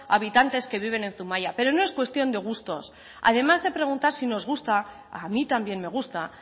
habitantes que viven en zumaia pero no es cuestión de gustos además de preguntar si nos gusta a mí también me gusta